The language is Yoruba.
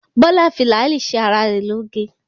Bọ́lá fi làálì ṣe ara rẹ̀ lóge.